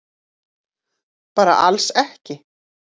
Bara alls ekki.